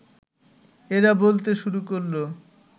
এরা বলতে শুরু করল